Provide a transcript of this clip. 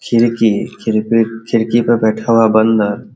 खिड़की खिरपी खिड़की पे बैठा हुआ है बंदर |